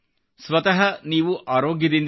ಸ್ವತಃ ನೀವು ಆರೋಗ್ಯದಿಂದಿರಿ